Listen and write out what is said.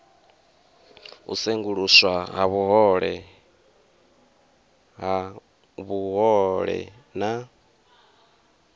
u senguluswa ha vhuhole na